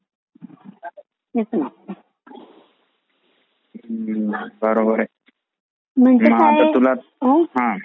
हो बरोबर आहे